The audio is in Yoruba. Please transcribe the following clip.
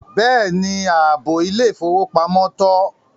Bẹ́ẹ̀ni, áàbọ ilẹ̀-ifowópamọ̀ tọ.